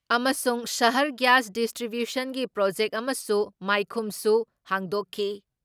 ꯑꯃꯁꯨꯡ ꯁꯍꯔ ꯒ꯭ꯌꯥꯁ ꯗꯤꯁꯇ꯭ꯔꯤꯕ꯭ꯌꯨꯁꯟꯒꯤ ꯄ꯭ꯔꯣꯖꯦꯛ ꯑꯃꯁꯨ ꯃꯥꯏꯈꯨꯝꯁꯨ ꯍꯥꯡꯗꯣꯛꯈꯤ ꯫